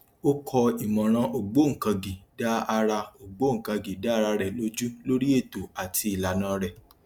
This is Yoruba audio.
ó kọ ìmọràn ògbóǹkangí dá ara ògbóǹkangí dá ara rẹ lójú lórí ètò àti ìlànà rẹ